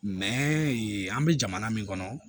Mɛ yen an bɛ jamana min kɔnɔ